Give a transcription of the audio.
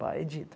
Vai edita.